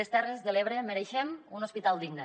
les terres de l’ebre mereixem un hospital digne